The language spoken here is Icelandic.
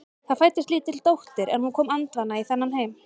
Það fæddist lítil dóttir en hún kom andvana í þennan heim.